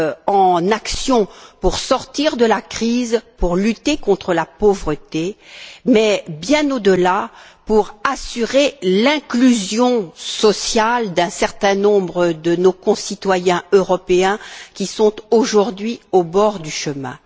en action pour sortir de la crise, pour lutter contre la pauvreté mais, bien au delà, pour assurer l'inclusion sociale d'un certain nombre de nos concitoyens européens qui sont aujourd'hui au bord du chemin.